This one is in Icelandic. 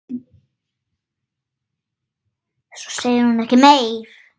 Svo segir hún ekkert meir.